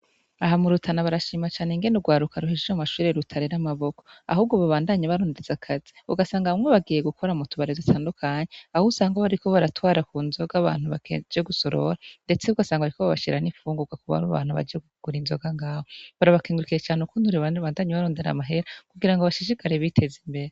Aha mu Rutana barashima cane ingene urwaruka ruhejeje mu mashuri rutarera amaboko, ahubwo babandanya barondeza akazi ; ugasanga bamwe bagiye gukora mu tubare dutandukanye aho usanga bariko baratwara ku nzoga abantu baje gusorora, ndetse ugasanga bariko babashira n'ifungurwa kurabo bantu baje kugura inzoga ngaho. Barabakengurukiye cane ukuntu rubandanye barondera amahera kugira ngo bashisikare biteza imbere.